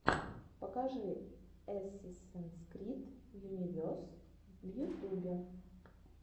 покажи эсэсинс крид юнивес в ютюбе